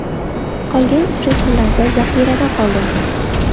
Qolgan uchrashuvlarda zaxirada qoldim.